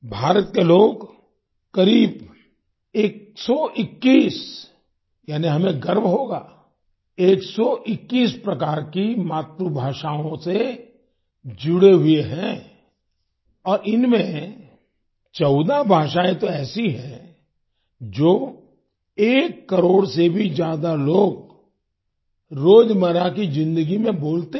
भारत के लोग करीब 121 यानी हमें गर्व होगा 121 प्रकार की मातृ भाषाओं से जुड़े हुए हैं और इनमे 14 भाषाएँ तो ऐसी हैं जो एक करोड़ से भी ज्यादा लोग रोजमर्रा की जिंदगी में बोलते हैं